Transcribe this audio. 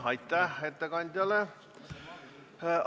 Aitäh ettekandjale!